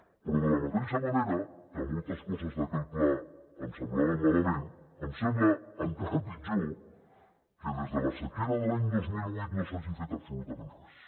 però de la mateixa manera que moltes coses d’aquell pla em semblaven malament em sembla encara pitjor que des de la sequera de l’any dos mil ocho no s’hagi fet absolutament res